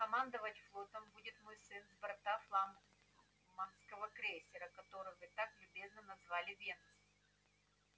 командовать флотом будет мой сын с борта флагманского крейсера который вы так любезно назвали венус